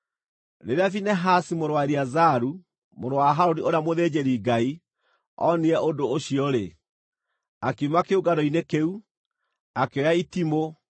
Rĩrĩa Finehasi mũrũ wa Eleazaru, mũrũ wa Harũni ũrĩa mũthĩnjĩri-Ngai, onire ũndũ ũcio-rĩ, akiuma kĩũngano-inĩ kĩu, akĩoya itimũ,